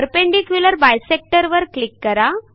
perpendicular bisector वर click करा